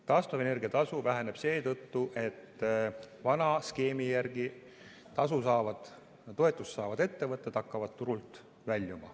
Taastuvenergia tasu väheneb seetõttu, et vana skeemi järgi toetust saavad ettevõtted hakkavad turult väljuma.